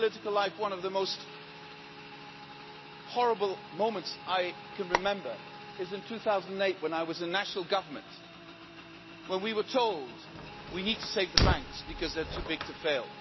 In my political life, one of the most horrible moments I can remember is in 2008 when I was in national government, when we were told we need to save the banks because they are too big to fail.